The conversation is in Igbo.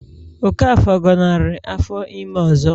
Okafor gọnarị afọ ime ọzọ